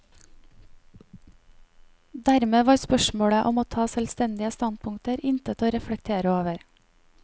Dermed var spørsmålet om å ta selvstendige standpunkter intet å reflektere over.